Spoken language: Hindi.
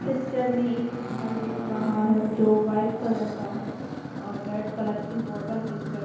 पिक्चर में एक घर दिख रहा है जो व्हाइट कलर का है और रेड कलर की बॉर्डर दिख रही--